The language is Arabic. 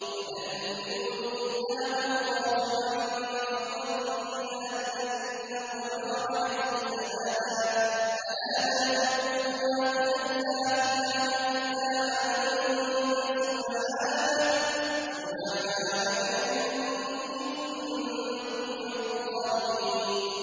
وَذَا النُّونِ إِذ ذَّهَبَ مُغَاضِبًا فَظَنَّ أَن لَّن نَّقْدِرَ عَلَيْهِ فَنَادَىٰ فِي الظُّلُمَاتِ أَن لَّا إِلَٰهَ إِلَّا أَنتَ سُبْحَانَكَ إِنِّي كُنتُ مِنَ الظَّالِمِينَ